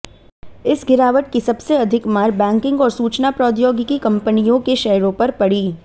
इस गिरावट की सबसे अधिक मार बैंकिंग और सूचना प्रौद्योगिकी कंपनियों के शेयरों पर पड़ी